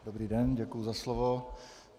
Dobrý den, děkuji za slovo.